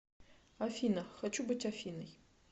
афина хочу быть афиной